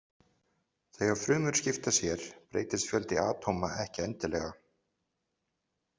Þegar frumur skipta sér breytist fjöldi atóma ekki endilega.